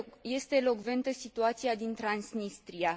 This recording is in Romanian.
Este elocventă situația din Transnistria.